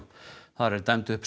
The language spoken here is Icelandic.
þar er dæmd upp